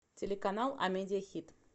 телеканал амедиа хит